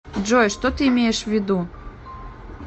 джой что ты имеешь ввиду